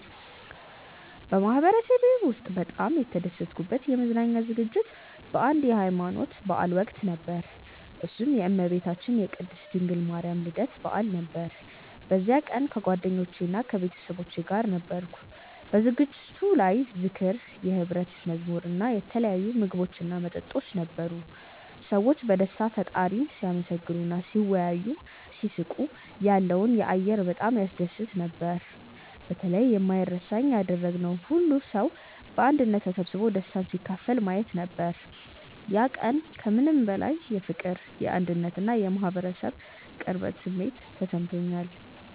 በማህበረሰቤ ውስጥ በጣም የተደሰትኩበት የመዝናኛ ዝግጅት በአንድ የሀይማኖት በዓል ወቅት ነበር፤ እሱም የእመቤታችን የቅድስት ድንግል ማርያም የልደት በዓል ነበር። በዚያ ቀን ከጓደኞቼና ከቤተሰቦቼ ጋር ነበርኩ። በዝግጅቱ ላይ ዝክር፣ የሕብረት መዝሙር እና የተለያዩ ምግቦችና መጠጦች ነበሩ። ሰዎች በደስታ ፈጣሪን ሲያመሰግኑ እና ሲወያዩ፣ ሲስቁ ያለው አየር በጣም ያስደስት ነበር። በተለይ የማይረሳኝ ያደረገው ሁሉም ሰው በአንድነት ተሰብስቦ ደስታን ሲካፈል ማየት ነበር። ያ ቀን ከምንም በላይ የፍቅር፣ የአንድነት እና የማህበረሰብ ቅርበት ስሜት ሰጥቶኛል።